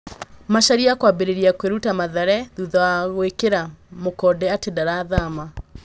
Macharia kwambĩrĩria kwĩruta Mathare thutha wa gũĩkĩra mũkonde atĩ ndarathama.